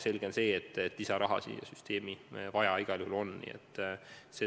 Selge on see, et lisaraha on süsteemi igal juhul vaja.